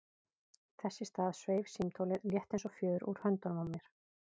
Þess í stað sveif símtólið, létt eins og fjöður, úr höndunum á mér.